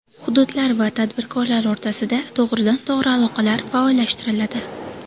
Hududlar va tadbirkorlar o‘rtasida to‘g‘ridan-to‘g‘ri aloqalar faollashtiriladi.